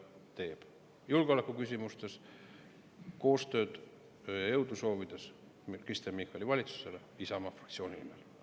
julgeoleku küsimustes koostööd ja jõudu soovides Kristen Michali valitsusele Isamaa fraktsiooni nimel.